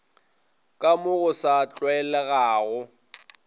ka mo go sa tlwaelegago